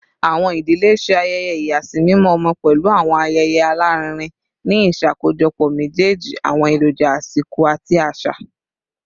Awọn idile ṣe ayẹyẹ ìyàsímímọ ọmọ pẹlu awọn ayẹyẹ alarinrin, ni iṣakojọpọ mejeeji awọn eroja asiko ati aṣa.